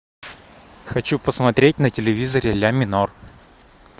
хочу посмотреть на телевизоре ля минор